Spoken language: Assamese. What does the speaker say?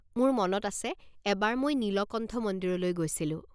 মোৰ মনত আছে এবাৰ মই নীলকণ্ঠ মন্দিৰলৈ গৈছিলোঁ।